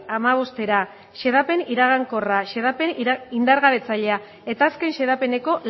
hamabostera xedapen iragankorra xedapen indargabetzailea eta azken xedapeneko